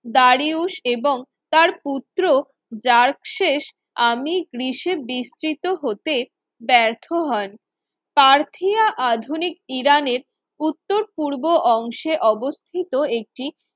Darius এবং তার পুত্র যার্কশেষ আমি গ্রিসে বিস্তৃত হতে ব্যর্থ হন পার্থীয়া আধুনিক ইরানের উত্তর-পূর্ব অংশে অবস্থিত একটি